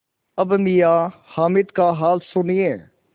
अब मियाँ हामिद का हाल सुनिए